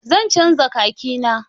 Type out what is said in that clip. Zan canza khaki na.